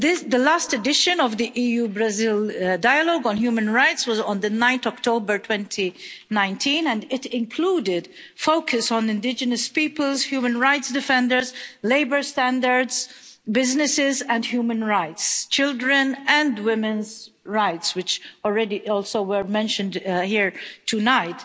The last edition of the EU Brazil dialogue on human rights was on 9 October 2019, and it included a focus on indigenous peoples, human rights defenders, labour standards, businesses and human rights, and children's and women's rights, which already also were mentioned here tonight.